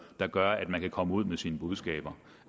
der gør at man kan komme ud med sine budskaber